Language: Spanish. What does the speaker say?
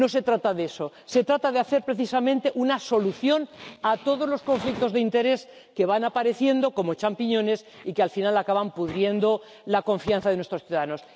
No se trata de eso, se trata de ofrecer precisamente una solución a todos los conflictos de intereses que van apareciendo como champiñones y que, al final, acaban pudriendo la confianza de nuestros ciudadanos.